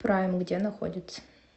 прайм где находится